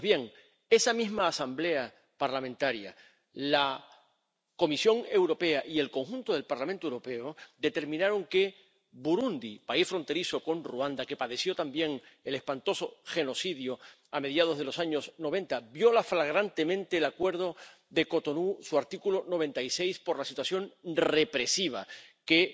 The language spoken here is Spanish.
Pues bien, esa misma Asamblea Parlamentaria Paritaria, la Comisión Europea y el conjunto del Parlamento Europeo determinaron que Burundi ⸻país fronterizo con Ruanda, que padeció también el espantoso genocidio a mediados de los años noventa⸻ viola flagrantemente el Acuerdo de Cotonú, su artículo 96, por la situación represiva, que